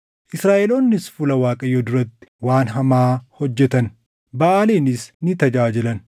Israaʼeloonnis fuula Waaqayyoo duratti waan hamaa hojjetan; Baʼaaliinis ni tajaajilan.